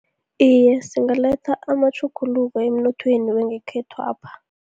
Iye, singaletha amatjhuguluko emnothweni wangekhethwapha.